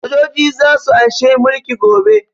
Sojoji za su an she mulki gobe